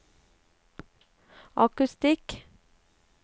akustikk